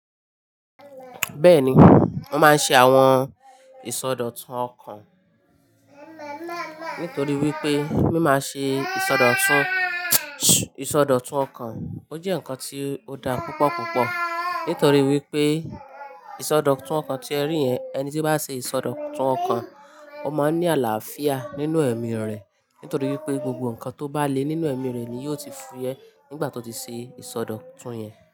Bẹ́ẹ̀ni, mo máa ń ṣe àwọn ìsọdọ̀tun ọkàn nítorí wípé mima ṣe ìsọdọ̀tun, ìsọdọ̀tun ọkàn. Ó jẹ́ ǹkan ti ó da púpọ̀ púpọ̀ nítorí wípé ìsọdọ̀tun ọkàn tí ẹ rí yẹn, ẹni tí bá ṣe ìsọdọ̀tun ọkàn, ó máa ń ní àlàáfíà nínú ẹ̀mí rẹ̀ nítorí wípé gbogbo ǹkan tó bá le nínú ẹ̀mí rẹ̀ ni yóò ti fúyẹ́ nígbà tó ti ṣe ìsọdọ̀tun yẹn.